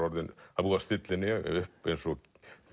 búið að stilla henni upp eins og